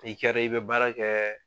I kɛra i bɛ baara kɛ